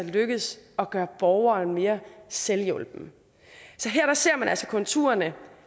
er lykkedes at gøre borgeren mere selvhjulpen så her ser man altså konturerne